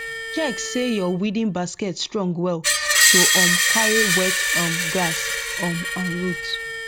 check say your weeding basket strong well to um carry wet um grass um and root